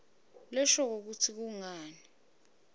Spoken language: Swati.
leshoko kutsi kungani